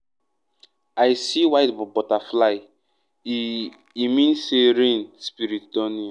i see white butterfly — e e mean say rain spirit don near.